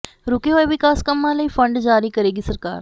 ਰੁਕੇ ਹੋਏ ਵਿਕਾਸ ਕੰਮਾਂ ਲਈ ਫ਼ੰਡ ਜਾਰੀ ਕਰੇਗੀ ਸਰਕਾਰ